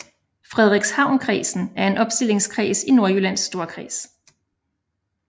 Frederikshavnkredsen er en opstillingskreds i Nordjyllands Storkreds